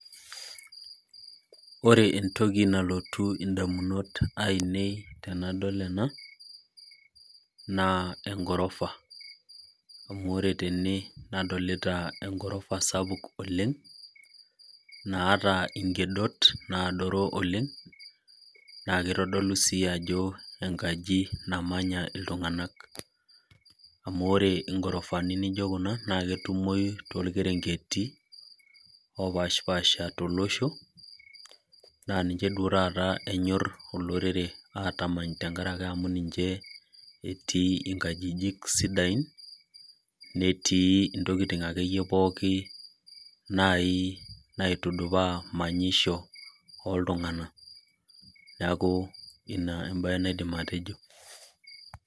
Ore entoki nalotu idamunot ainei tenadol ena naa egorofa. amu ore ten nadolita egorafa sapuk oleng. naata nkedot adoru oleng. naa kitodolu sii ajo enkaji namanya iltunganak. naa ore gurufani naijo Kuna naa ketumoyu, torkerenketi. opashipsasha tolosho Naa ninche duoo taata enyor olorere aatamany amu ninche etii nkajijik sidain. netii ntokitin akeyie pookin, naai naitudupaa manyisho oltunganak. neeku Ina ebae naidim atejo.